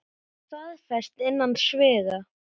Er það staðfest innan sviga?